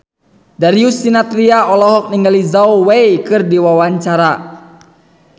Darius Sinathrya olohok ningali Zhao Wei keur diwawancara